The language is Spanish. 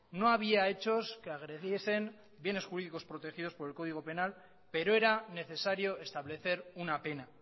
no había hechos que agrediesen bienes jurídicos protegidos por el código penal pero era necesario establecer una pena